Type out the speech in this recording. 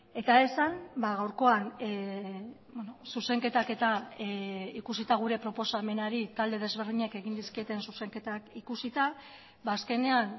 eta esan gaurkoan zuzenketak eta ikusita gure proposamenari talde desberdinek egin dizkieten zuzenketak ikusita azkenean